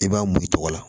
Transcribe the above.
I b'a mun i tɔgɔ la